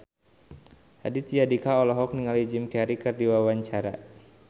Raditya Dika olohok ningali Jim Carey keur diwawancara